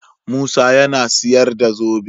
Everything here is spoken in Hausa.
Musa yAna siyar da zobe